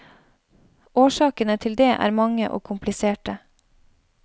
Årsakene til det er mange og kompliserte.